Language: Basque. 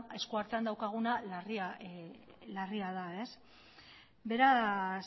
esku artean daukaguna larria da beraz